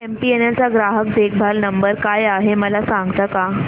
MTNL चा ग्राहक देखभाल नंबर काय आहे मला सांगता का